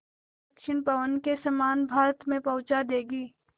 दक्षिण पवन के समान भारत में पहुँचा देंगी